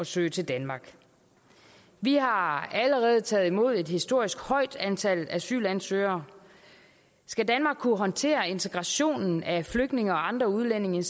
søge til danmark vi har allerede taget imod et historisk højt antal asylansøgere skal danmark kunne håndtere integrationen af flygtninge og andre udlændinge